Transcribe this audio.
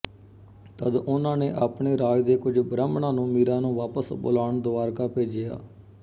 ਤਦ ਉਹਨਾਂ ਨੇ ਆਪਣੇ ਰਾਜ ਦੇ ਕੁਝ ਬ੍ਰਾਹਮਣਾਂ ਨੂੰ ਮੀਰਾ ਨੂੰ ਵਾਪਸ ਬੁਲਾਣ ਦੁਆਰਕਾ ਭੇਜਿਆ